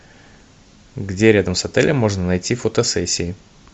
где рядом с отелем можно найти фотосессии